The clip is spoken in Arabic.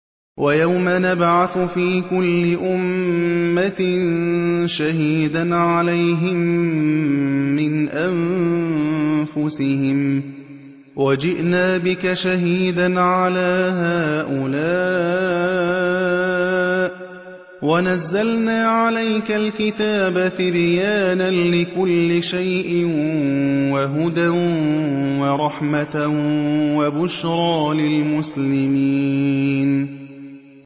وَيَوْمَ نَبْعَثُ فِي كُلِّ أُمَّةٍ شَهِيدًا عَلَيْهِم مِّنْ أَنفُسِهِمْ ۖ وَجِئْنَا بِكَ شَهِيدًا عَلَىٰ هَٰؤُلَاءِ ۚ وَنَزَّلْنَا عَلَيْكَ الْكِتَابَ تِبْيَانًا لِّكُلِّ شَيْءٍ وَهُدًى وَرَحْمَةً وَبُشْرَىٰ لِلْمُسْلِمِينَ